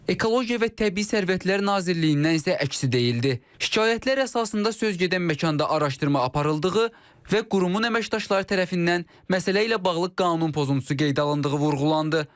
Ekologiya və Təbii Sərvətlər Nazirliyindən isə əksi deyildi: şikayətlər əsasında söz gedən məkanda araşdırma aparıldığı və qurumun əməkdaşları tərəfindən məsələ ilə bağlı qanun pozuntusu qeydə alındığı vurğulandı.